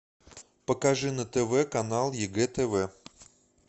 покажи на тв канал егэ тв